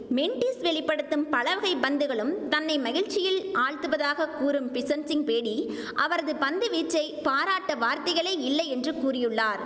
மென்டிஸ் வெளி படுத்தும் பலவகை பந்துகளும் தன்னை மகிழ்ச்சியில் ஆழ்த்துவதாக கூறும் பிஷன் சிங் பேடி அவரது பந்து வீச்சை பாராட்ட வார்த்தைகளே இல்லை என்று கூறியுள்ளார்